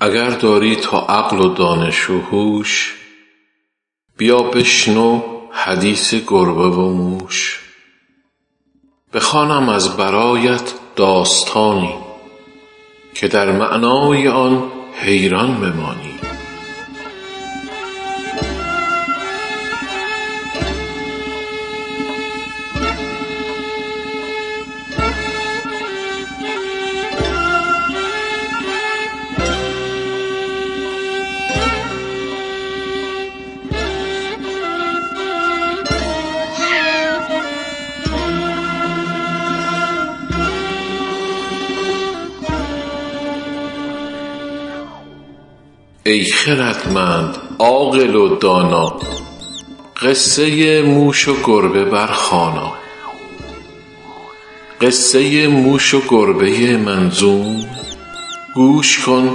اگر داری تو عقل و دانش و هوش بیا بشنو حدیث گربه و موش بخوانم از برایت داستانی که در معنای آن حیران بمانی ای خردمند عاقل و دانا قصه موش و گربه برخوانا قصه موش و گربه منظوم گوش کن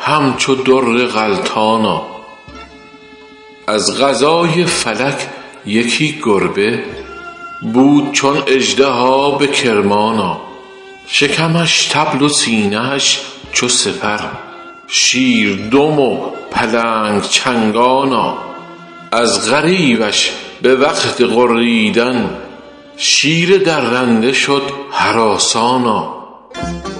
همچو در غلتانا از قضای فلک یکی گربه بود چون اژدها به کرمانا شکمش طبل و سینه اش چو سپر شیر دم و پلنگ چنگانا از غریوش به وقت غریدن شیر درنده شد هراسانا سر هر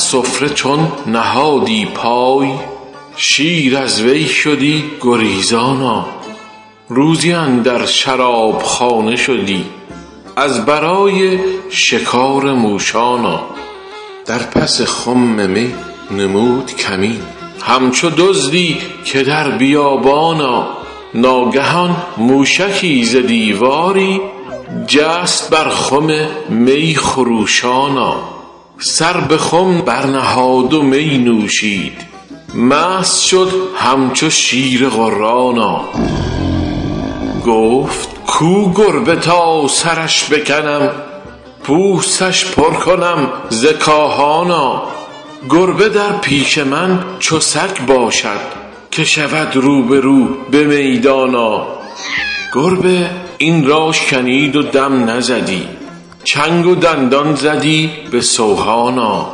سفره چون نهادی پای شیر از وی شدی گریزانا روزی اندر شرابخانه شدی از برای شکار موشانا در پس خم نموده بود کمین همچو دزدی که در بیابانا ناگهان موشکی ز دیواری جست بر خم می خروشانا سر به خم برنهاد و می نوشید مست شد همچو شیر غرانا گفت کو گربه تا سرش بکنم پوستش پر کنم ز کاهانا گربه در پیش من چو سگ باشد که شود روبرو به میدانا گربه این را شنید و دم نزدی چنگ و دندان زدی به سوهانا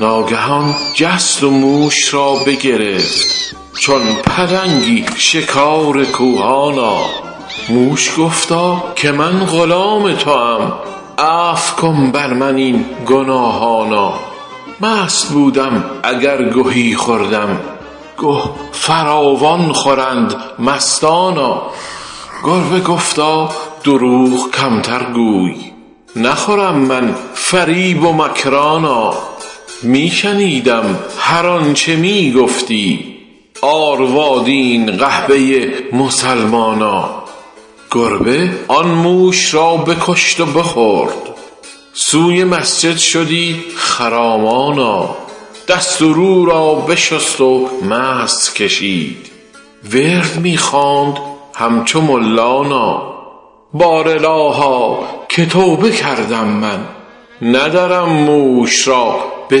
ناگهان جست و موش را بگرفت چون پلنگی شکار کوهانا موش گفتا که من غلام توام عفو کن بر من این گناهانا مست بودم اگر گهی خوردم گه فراوان خورند مستانا گربه گفتا دروغ کمتر گوی نخورم من فریب و مکرانا می شنیدم هرآنچه می گفتی آروادین قحبه مسلمانا گربه آن موش را بکشت و بخورد سوی مسجد شدی خرامانا دست و رو را بشست و مسح کشید ورد می خواند همچو ملانا بار الها که توبه کردم من ندرم موش را به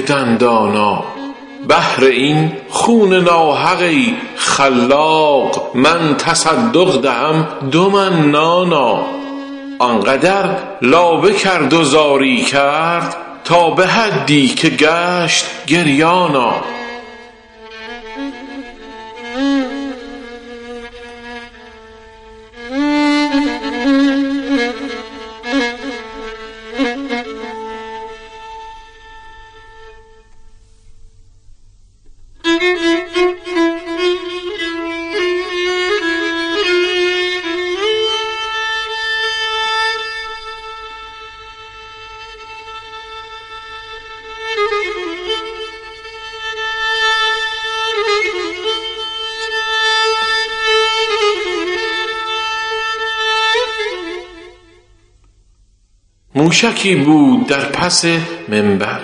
دندانا بهر این خون ناحق ای خلاق من تصدق دهم دو من نانا آنقدر لابه کرد و زاری کرد تا به حدی که گشت گریانا موشکی بود در پس منبر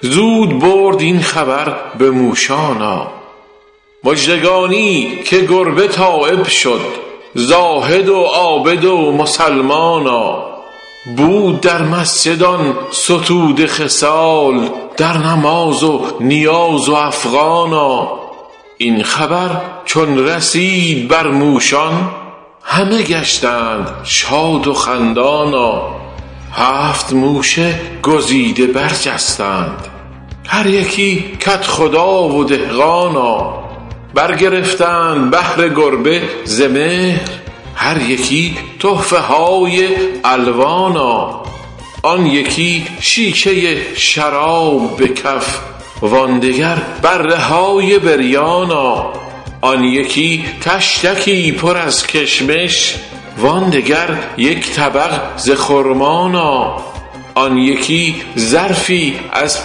زود برد این خبر به موشانا مژدگانی که گربه تایب شد زاهد و عابد و مسلمانا بود در مسجد آن ستوده خصال در نماز و نیاز و افغانا این خبر چون رسید بر موشان همه گشتند شاد و خندانا هفت موش گزیده برجستند هر یکی کدخدا و دهقانا برگرفتند بهر گربه ز مهر هر یکی تحفه های الوانا آن یکی شیشه شراب به کف وان دگر بره های بریانا آن یکی طشتکی پر از کشمش وان دگر یک طبق ز خرمانا آن یکی ظرفی از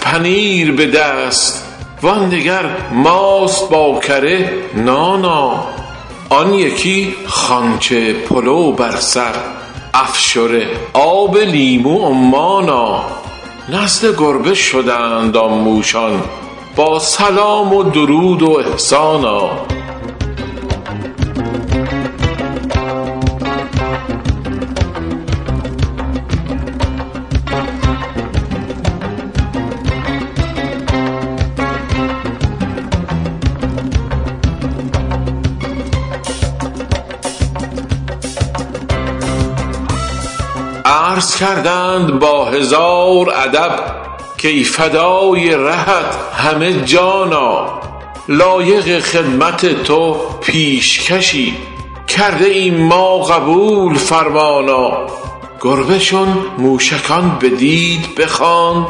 پنیر به دست وان دگر ماست با کره نانا آن یکی خوانچه پلو بر سر افشره آب لیمو عمانا نزد گربه شدند آن موشان با سلام و درود و احسانا عرض کردند با هزار ادب کای فدای رهت همه جانا لایق خدمت تو پیشکشی کرده ایم ما قبول فرمانا گربه چون موشکان بدید بخواند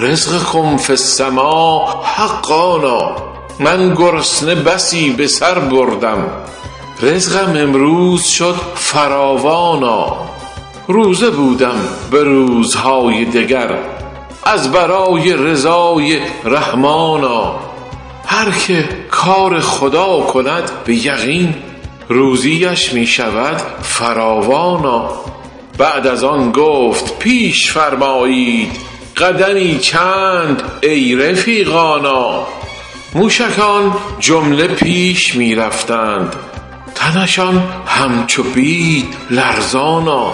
رزقکم فی السماء حقانا من گرسنه بسی به سر بردم رزقم امروز شد فراوانا روزه بودم به روزهای دگر از برای رضای رحمانا هرکه کار خدا کند به یقین روزی اش می شود فراوانا بعد از آن گفت پیش فرمایید قدمی چند ای رفیقانا موشکان جمله پیش می رفتند تنشان همچو بید لرزانا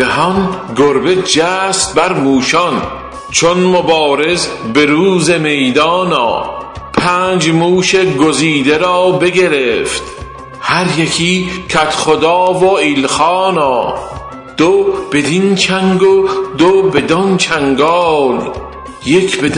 ناگهان گربه جست بر موشان چون مبارز به روز میدانا پنج موش گزیده را بگرفت هر یکی کدخدا و ایلخانا دو بدین چنگ و دو بدانچنگال یک به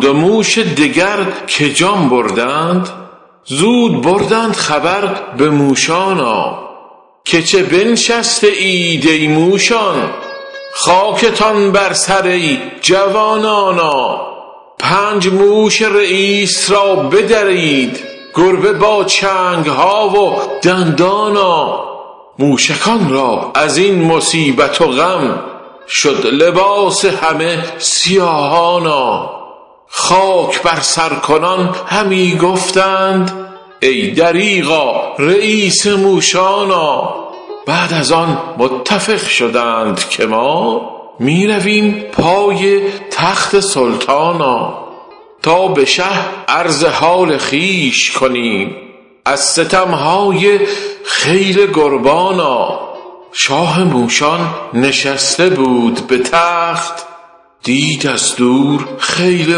دندان چو شیر غرانا آن دو موش دگر که جان بردند زود بردند خبر به موشانا که چه بنشسته اید ای موشان خاکتان بر سر ای جوانانا پنج موش رییس را بدرید گربه با چنگ ها و دندانا موشکان را از این مصیبت و غم شد لباس همه سیاهانا خاک بر سر کنان همی گفتند ای دریغا رییس موشانا بعد از آن متفق شدند که ما می رویم پای تخت سلطانا تا به شه عرض حال خویش کنیم از ستم های خیل گربانا شاه موشان نشسته بود به تخت دید از دور خیل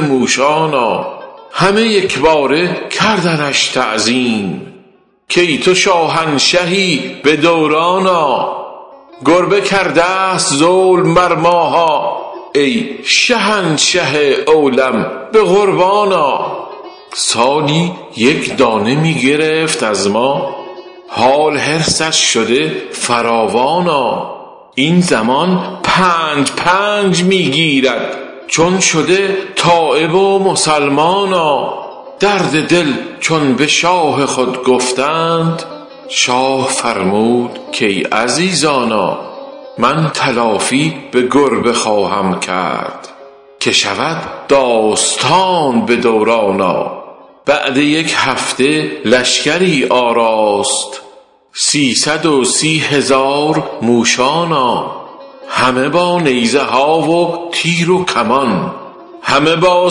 موشانا همه یکباره کردنش تعظیم کای تو شاهنشهی به دورانا گربه کرده است ظلم بر ماها ای شهنشه اولوم به قربانا سالی یک دانه می گرفت از ما حال حرصش شده فراوانا این زمان پنج پنج می گیرد چون شده تایب و مسلمانا درد دل چون به شاه خود گفتند شاه فرمود که ای عزیزانا من تلافی به گربه خواهم کرد که شود داستان به دورانا بعد یک هفته لشگری آراست سیصد و سی هزار موشانا همه با نیزه ها و تیر و کمان همه با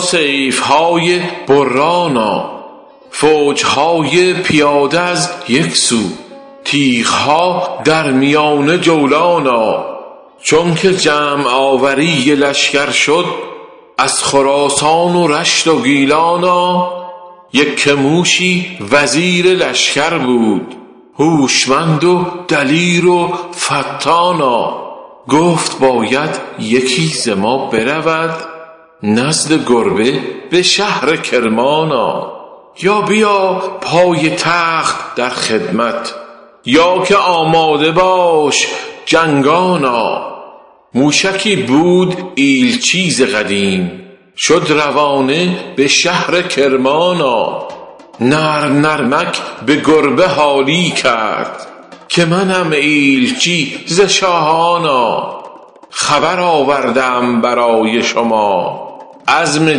سیف های برانا فوج های پیاده از یک سو تیغ ها در میانه جولانا چونکه جمع آوری لشگر شد از خراسان و رشت و گیلانا یکه موشی وزیر لشگر بود هوشمند و دلیر و فطانا گفت باید یکی ز ما برود نزد گربه به شهر کرمانا یا بیا پای تخت در خدمت یا که آماده باش جنگانا موشکی بود ایلچی ز قدیم شد روانه به شهر کرمانا نرم نرمک به گربه حالی کرد که منم ایلچی ز شاهانا خبر آورده ام برای شما عزم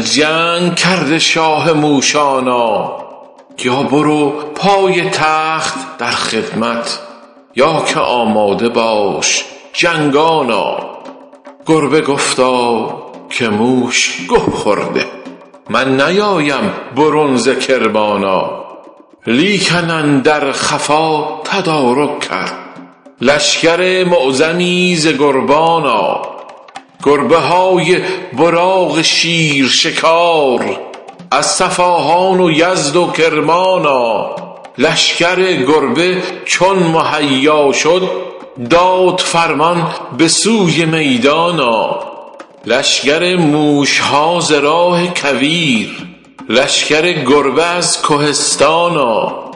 جنگ کرده شاه موشانا یا برو پای تخت در خدمت یا که آماده باش جنگانا گربه گفتا که شاه گه خورده من نیایم برون ز کرمانا لیکن اندر خفا تدارک کرد لشگر معظمی ز گربانا گربه های براق شیر شکار از صفاهان و یزد و کرمانا لشگر گربه چون مهیا شد داد فرمان به سوی میدانا لشگر موشها ز راه کویر لشگر گربه از کهستانا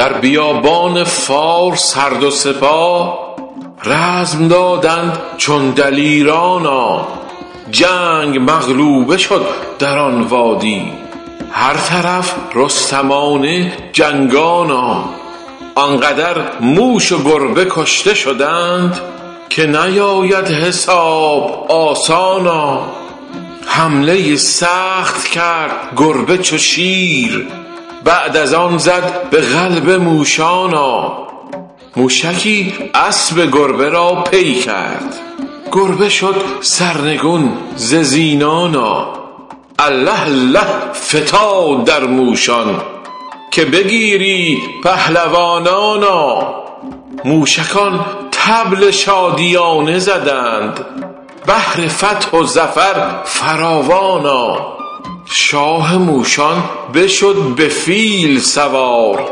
در بیابان فارس هر دو سپاه رزم دادند چون دلیرانا جنگ مغلوبه شد در آن وادی هر طرف رستمانه جنگانا آنقدر موش و گربه کشته شدند که نیاید حساب آسانا حمله سخت کرد گربه چو شیر بعد از آن زد به قلب موشانا موشکی اسب گربه را پی کرد گربه شد سرنگون ز زینانا الله الله فتاد در موشان که بگیرید پهلوانانا موشکان طبل شادیانه زدند بهر فتح و ظفر فراوانا شاه موشان بشد به فیل سوار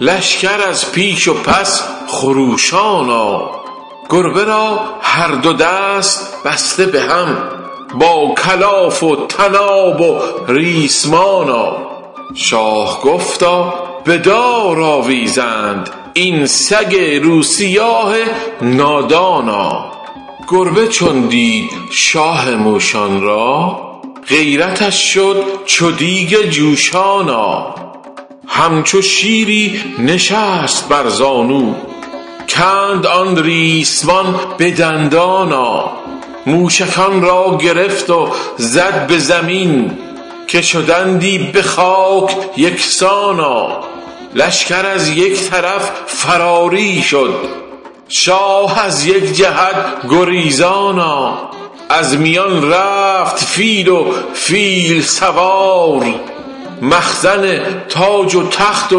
لشگر از پیش و پس خروشانا گربه را هر دو دست بسته به هم با کلاف و طناب و ریسمانا شاه گفتا بدار آویزند این سگ روسیاه نادانا گربه چون دید شاه موشان را غیرتش شد چو دیگ جوشانا همچو شیری نشست بر زانو کند آن ریسمان به دندانا موشکان را گرفت و زد به زمین که شدندی به خاک یکسانا لشگر از یک طرف فراری شد شاه از یک جهت گریزانا از میان رفت فیل و فیل سوار مخزن و تاج و تخت و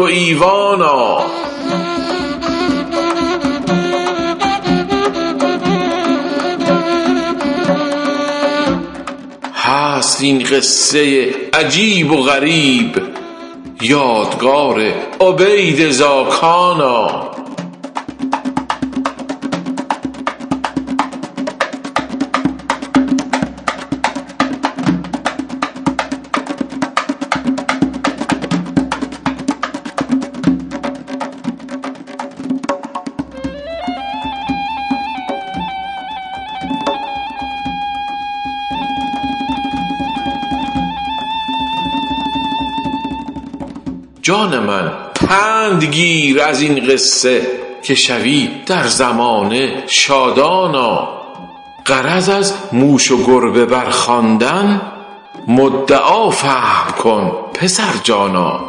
ایوانا هست این قصه عجیب و غریب یادگار عبید زاکانا جان من پند گیر از این قصه که شوی در زمانه شادانا غرض از موش و گربه برخواندن مدعا فهم کن پسر جانا